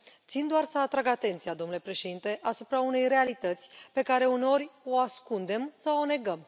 Țin doar să atrag atenția, domnule președinte, asupra unei realități pe care, uneori, o ascundem sau o negăm.